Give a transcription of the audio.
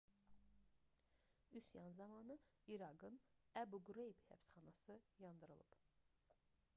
üsyan zamanı i̇raqın əbu qreyb həbsxanası yandırılıb